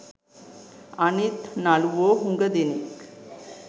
අනිත් නළුවෝ හුඟ දෙනෙක්